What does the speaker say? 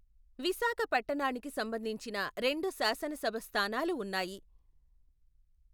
విశాఖ పట్టణానికి సంబంధించిన రెండు శాసన సభ స్థానాలు ఉన్నాయి.